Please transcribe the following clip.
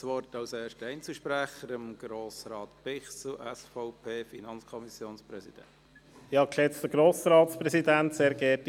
Als erster Einzelsprecher hat Grossrat Bichsel, SVP, FiKo-Präsident, das Wort.